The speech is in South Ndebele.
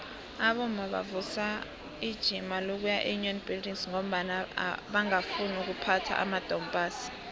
abomma bavusa ijima lokuya eunion buildings ngombana bangafuni ukuphatha amadompass